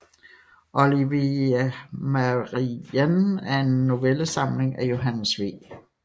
Olivia Marianne er en novellesamling af Johannes V